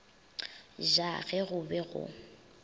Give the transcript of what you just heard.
ja ge go be go